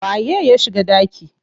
Waye ya shiga ɗaki?